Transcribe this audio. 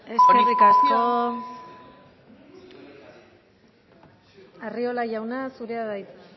eskerrik asko lópez de ocariz andrea eskerrik asko arriola jauna zurea da hitza